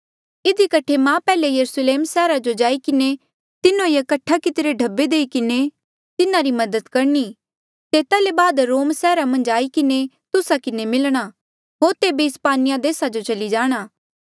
इधी कठे मां पैहले यरुस्लेम सैहरा जो जाई किन्हें तिन्हो ये कठ्ठा कितिरे ढब्बे देई किन्हें तिन्हारी मदद करणी तेता ले बाद रोम सैहरा मन्झ आई किन्हें तुस्सा किन्हें मिलणा होर तेबे इस्पानिया देसा जो चली जाणा